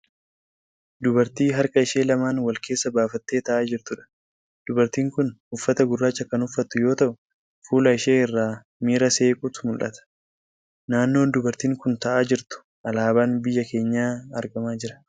Dubartii harka ishee lamaan wal keessa baafattee ta'aa jirtuudha. Dubartiin kun uffata gurraacha kan uffattu yoo ta'u fuula ishee irraa miira seequutu mul'ata. Naannoo dubartiin kun ta'aa jirtu alaabaan biyya keenyaa argamaa jira.